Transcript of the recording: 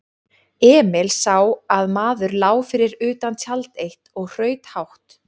Emil sá að maður lá fyrir utan tjald eitt og hraut hátt.